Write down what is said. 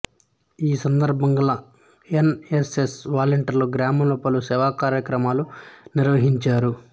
ఈ సందర్భంగా N S S వలంటీర్లు గ్రామంలో పలు సేవాకార్యక్రమాలు నిర్వహించారు